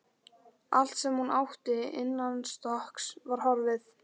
Allt sem hún átti innanstokks var horfið.